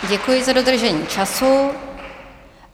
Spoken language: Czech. Děkuji za dodržení času.